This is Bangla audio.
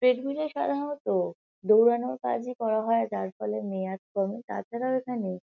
ট্রেডমিল -এ সাধারণত দৌড়ানোর কাজই করা হয়। যার ফলে মেয়াদ কমে। তাছাড়াও এখানে--